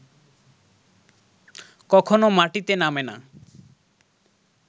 কখনও মাটিতে নামে না